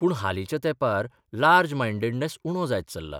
पूण हालींच्या तेंपार लार्ज मायंडेडनेस उणो जायत चल्ला.